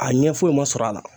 A ɲɛ foyi ma sɔrɔ a la